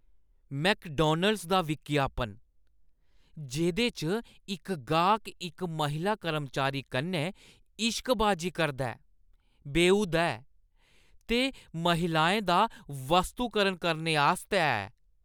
McDonald's दा विज्ञापन, जेह्दे च इक गाह्क इक महिला कर्मचारी कन्नै इश्कबाजी करदा ऐ, बेहूदा ऐ ते महिलाएं दा वस्तुकरण करनेआस्तै ऐ।